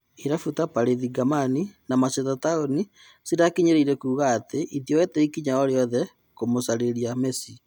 Irabu ta-Parĩthi, Gamani na Masheta Taũni cirakinyirĩirie kuga atĩ itioete ikinya orĩothe kũmũgucĩrĩria Mesi.